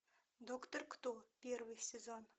доктор кто первый сезон